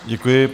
Děkuji.